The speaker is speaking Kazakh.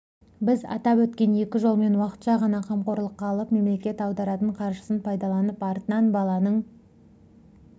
біз атап өткен екі жолмен уақытша ғана қамқорлыққа алып мемлекет аударатын қаржысын пайдаланып артынан баланың